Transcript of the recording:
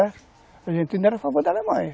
A Argentina era a favor da Alemanha.